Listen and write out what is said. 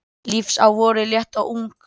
Lífs á vori létt og ung